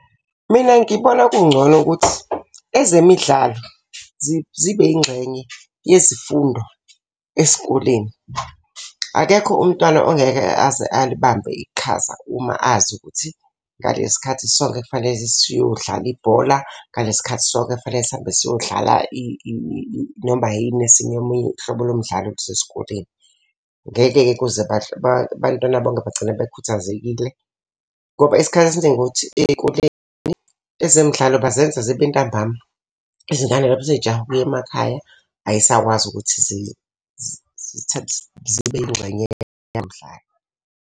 Mina ngibona kungcono ukuthi ezemidlalo zibe yingxenye yezifunda esikoleni. Akekho umntwana ongeke aze alibambe iqhaza uma azi ukuthi ngalesi khathi sonke kufanele siyodlala ibhola. Ngalesi khathi sonke kufanele sihambe siyodlala noma yini esinye omunye uhlobo lo mdlalo oluse sikoleni. Ngeke-ke kuze abantwana bonke bagcina bekhuthazekile. Ngoba isikhathi esiningi ukuthi ey'koleni ezemidlalo bazenza zibe ntambama. Izingane lapho sey'jahe ukuya emakhaya ay'sakwazi ukuthi zibe yingxenye yomdlalo.